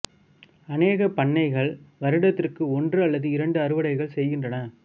அநேக பண்ணைகள் வருடத்திற்கு ஒன்று அல்லது இரண்டு அறுவடைகள் செய்கின்றன